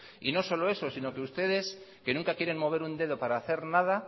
y no solo eso sino que ustedes que nunca quieren mover un dedo para hacer nada